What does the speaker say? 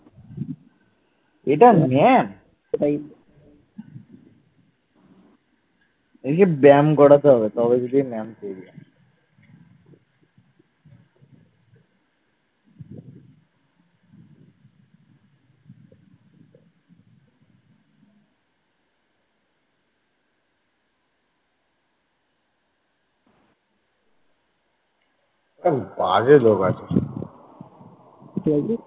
কি বলছিস?